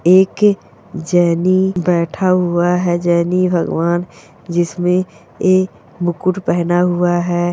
एक जैनी बैठा हुआ है जैनी भगवान जिसने ए मुकुट पहना हुआ है।